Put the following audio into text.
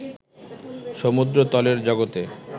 সমুদ্রতলের জগতে